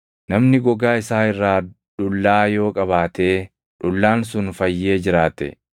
“Namni gogaa isaa irraa dhullaa yoo qabaatee dhullaan sun fayyee jiraate,